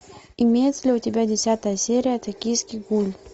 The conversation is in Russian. имеется ли у тебя десятая серия токийский гуль